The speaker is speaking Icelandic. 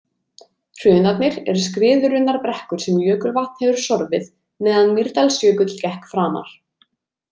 Hrunarnir eru skriðurunnar brekkur sem jökulvatn hefur sorfið meðan Mýrdalsjökull gekk framar.